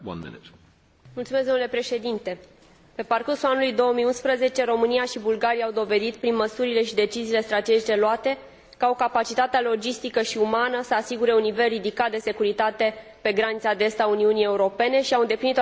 Pe parcursul anului 2011, România și Bulgaria au dovedit prin măsurile și deciziile strategice luate că au capacitatea logistică și umană să asigure un nivel ridicat de securitate pe granița de est a Uniunii Europene și că au îndeplinit toate criteriile de aderare.